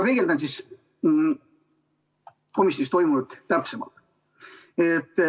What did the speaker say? Peegeldan siis komisjonis toimunut täpsemalt.